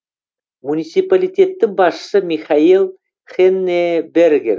муниципалитеттің басшысы михаэль хеннебергер